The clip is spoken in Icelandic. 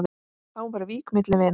Þá var vík milli vina.